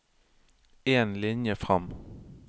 En linje fram